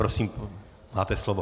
Prosím, máte slovo.